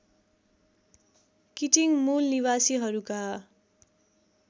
Keating मूलनिवासीहरूका